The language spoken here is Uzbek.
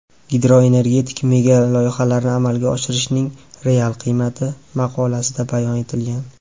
Gidroenergetik megaloyihalarni amalga oshirishning real qiymati” maqolasida bayon etilgan.